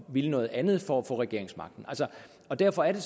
ville noget andet for at få regeringsmagten derfor er det